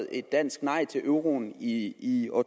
et dansk nej til euroen i i